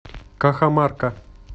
кахамарка